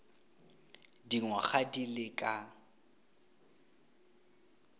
dingwaga di le ka